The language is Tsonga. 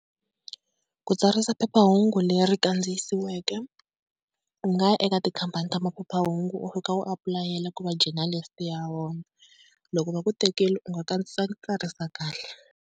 Ku tsarisa phephahungu leri kandziyisiweke, u nga ya eka tikhampani ta maphephahungu u fika u apulayela ku va journalists ya vona. Loko va ku tekela u nga kahle.